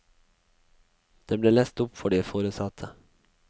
Det ble lest opp for de foresatte.